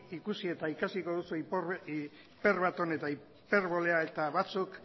ikusi eta ikasiko duzue hiperbaton eta hiperbolea eta batzuk